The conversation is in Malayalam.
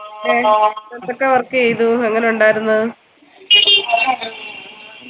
എന്തൊക്കെ work ചെയ്തു എങ്ങനാ ഉണ്ടായിരുന്നു